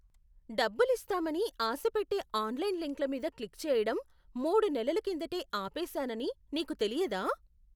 డబ్బులిస్తామని ఆశపెట్టే ఆన్లైన్ లింక్ల మీద క్లిక్ చేయడం మూడు నెలల కిందటే ఆపేసానని నీకు తెలియదా?